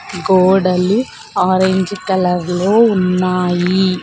గోడలు orange colour లో ఉన్నాయి.